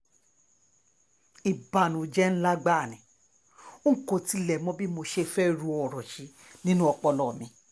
ìbànújẹ́ ńlá gbáà ni n kò tiẹ̀ mọ bí mo ṣe fẹ́ẹ́ ro ìṣẹ̀lẹ̀ yìí nínú ọpọlọ mi